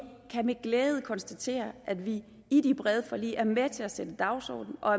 kan med glæde konstatere at vi i de brede forlig er med til at sætte dagsordenen og